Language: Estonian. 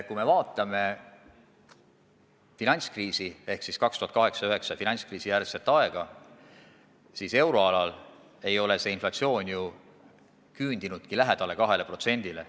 Kui me vaatame finantskriisi ehk siis aastate 2008–2009 finantskriisi järgset aega, siis näeme, et euroalal ei ole inflatsioon ju 2% lähedale küündinud.